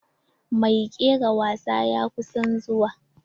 Mai kera wasa ya kusan zuwa.